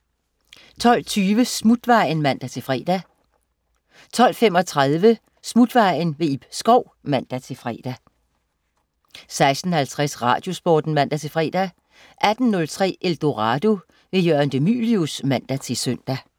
12.20 Smutvejen (man-fre) 12.35 Smutvejen. Ib Schou (man-fre) 13.03 Danmarksmester. En quiz på land og by, i fortid og nutid, fra Skagen til Gedser. Karlo Staunskær (man-fre) 14.03 Madsen. Alex Nyborg Madsen (man-fre) 16.50 Radiosporten (man-fre) 18.03 Eldorado. Jørgen de Mylius (man-søn)